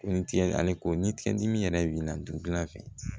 Ko ni tigɛ ale ko ni tigɛ dimi yɛrɛ b'i la dugu la fɛnɛ